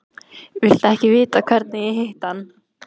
Viltu ekki vita hvernig ég hitti hann?